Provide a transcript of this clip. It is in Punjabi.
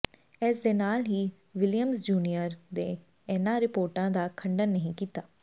ਇਸ ਦੇ ਨਾਲ ਹੀ ਵਿਲੀਅਮਜ਼ ਜੂਨੀਅਰ ਨੇ ਇਨ੍ਹਾਂ ਰਿਪੋਰਟਾਂ ਦਾ ਖੰਡਨ ਨਹੀਂ ਕੀਤਾ